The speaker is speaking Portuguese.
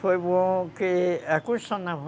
Foi bom porque a construção naval